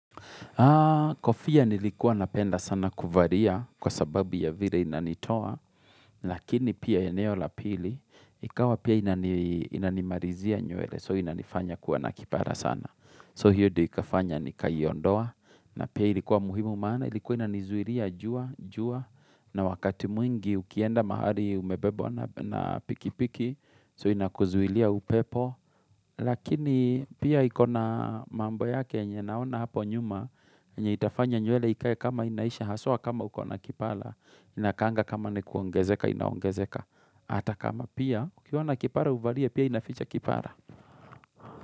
Ha, kofia nilikuwa napenda sana kuvaria kwa sababu ya vile inanitoa, lakini pia eneo lapili, ikawa pia inanimarizia nywele, so inanifanya kuwa nakipara sana. So hiyo ikafanya ni kayiondoa, na pia ilikuwa muhimu maana, ilikuwa na nizuilia jua, jua, na wakati mwingi ukienda mahali umebebwa na pikipiki, so inakuzulia upepo. Lakini pia ikona mambo yake enye naona hapo nyuma, enye itafanya nywele ikae kama inaisha, haswa kama ukona kipala, inakaanga kama nikuongezeka, inaongezeka. Ata kama pia, ukiwa na kipala uvalie, pia inaficha kipala.